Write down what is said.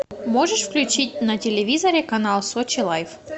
можешь включить на телевизоре канал сочи лайф